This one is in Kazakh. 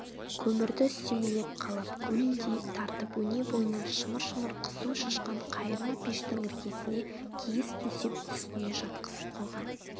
көмірді үстемелеп қалап гулдей тартып өнебойынан шымыр-шымыр қызу шашқан қайырма пештің іргесіне киіз төсеп үстіне жатқызып қойған